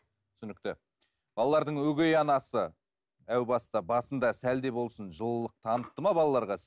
түсінікті балалардың өгей анасы әу баста басында сәл де болсын жылылық танытты ма балаларға